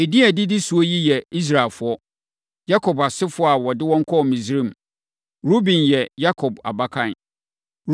Edin a ɛdidi so yi yɛ Israelfoɔ, Yakob asefoɔ a ɔde wɔn kɔɔ Misraim. Ruben yɛ Yakob abakan.